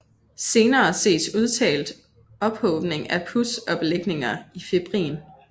Senere ses udtalt ophobning af pus og belægninger af fibrin